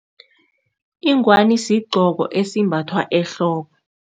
Ingwani sigqoko esimbathwa ehloko.